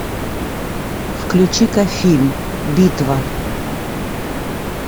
включи ка фильм битва